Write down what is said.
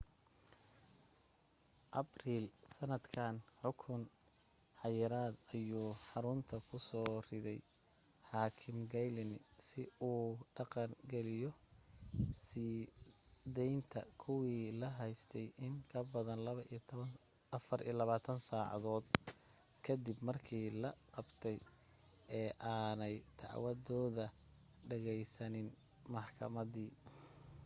abril sannadkan xukun xayiraada ayuu xarunta ku soo riday xaakim glyne si uu dhaqan geliyo sii daynta kuwii la haystay in ka badan 24 saacadood ka dib markii la qabtay ee aanay dacwadooda dhegaysanin maxkamadi